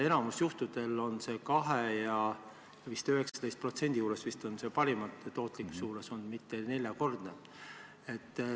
Enamikul juhtudel on tootlus olnud 2% ja parimal juhul 19% juures, mitte neljakordne.